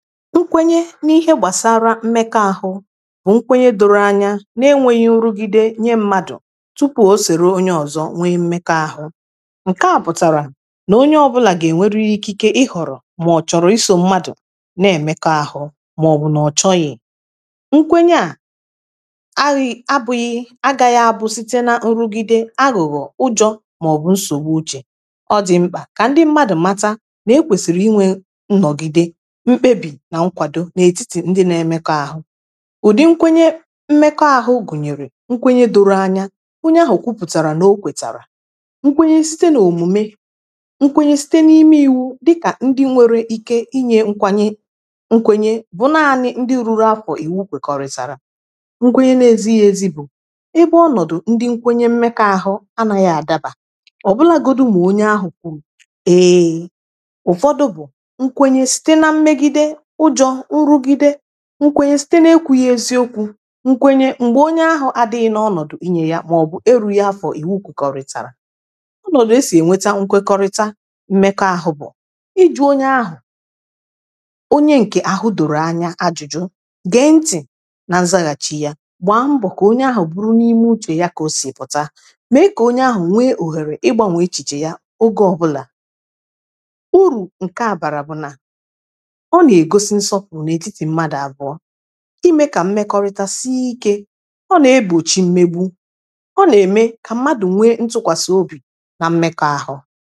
nkwenye n’ihe gbàsara ịmekọ abụ̄ nkwenye doro anya n’enwēghī irugide nye mmadụ̀ tupù o sère onye ọ̀zọ nwe mekọ àhụ ǹkè a pụ̀tàrà n’onye ọbụlà gà-ènwere ikike ịghọ̀rọ̀ mà ọ̀ chọ̀rọ̀ isò mmadụ̀ nà-èmekọ ahụ̄ màọ̀bụ̀ nọ̀ chọghị̀ nkwenye ā aghị̄ abụ̄ghị̄ agā yā busite na irugide aghụ̀ghọ̀ ụjọ̄ màọ̀bụ nsòwu ochē ọ dị̄ mkpà kà ndị mmadụ̀ macha n’ekwèsìrì inwē nnọ̀gide ḿbébì na nkwàdo n’ètitì ndị n’emēkọ̄ àhụ ụ̀dì nkwenye mmekọ ahụ̄ gùnyèrè nkwenye doro anya onye ahụ̀ kụpụ̀chàrà n’o kwèchàrà ikponye site n’òmùme nkwenye site n’ime iwū dịkà ndị nwere ike inyē nkwanye nkwenye bụ n’anị̄ ndị ruru afọ̀ ìwu gèkwọ̀rị̀chàrà nkwenye n’ezīezi bụ̀ ebe ọnọ̀dụ̀ ndị nkwenye mmekọ ahụ̄ anāghị àdabà ọ̀bụlụ agọ̀dụ̀ m̀gbè onye ā kwụ̀rụ̀ eē ụ̀fọdụ bụ̀ nkwenye site na mmegide ụjọ̄ nrụgide nkwenye site n’ekwūghe eziokwū nkwenye m̀gbè onye ā adị̄ghị nọ ọnọ̀dụ̀ inyē ya màọ̀bụ̀ erūghi afọ̀ ìwu kụ̀kwọ̀rị̀chàrà ọ nọ̀ n’esì ènweta nkwekọrịta mmekọ ahụ̄ bụ̀ ịjụ̄ onye ahu, onye ǹkè àhụ dòrò anya ajụ̀jụ ge ntị̀ na zaghàchị yā gba mbọ̀ kà onye ā bụrụ n’ime uchè ya kà osì pụ̀ta me kà onye ā nwe òhèrè ịgbānwè echìchè ya ogè ọbụlà urù ǹkè a gbàrà bụ̀ nà ọ n’ègosi nsọpụ̀rụ n’ètitì mmadụ̀ àbụ̀ọ imē kà imekọrịta si ikē ọ n’egbòchi mmegbu ọ n’ème kà mmadụ̀ nwe ntụkwàsa obì na mmekọ ahụ̄